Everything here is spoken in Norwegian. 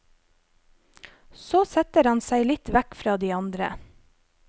Så setter han seg litt vekk fra de andre.